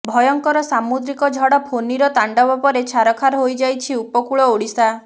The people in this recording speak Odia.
ଭୟଙ୍କର ସାମୁଦ୍ରିକ ଝଡ ଫୋନିର ତାଣ୍ଡବ ପରେ ଛାରଖାର ହୋଇଯାଇଛି ଉପକୂଳ ଓଡିଶା